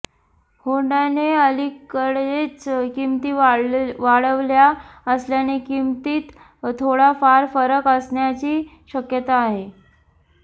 होंडाने अलिकडेच किंमती वाढवल्या असल्याने किंमतीत थोडाफार फरक असण्याची शक्यता आहे